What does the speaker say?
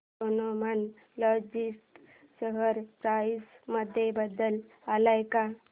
Snowman logistics share price मध्ये बदल आलाय का